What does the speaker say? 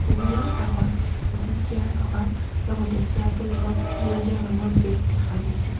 Table ৰ কাষত এটি চেয়াৰ থকাৰ লগতে চেয়াৰ টোৰ ওপৰত সেউজীয়া ৰঙৰ বেগ দেখা গৈছে।